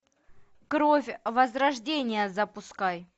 кровь возрождение запускай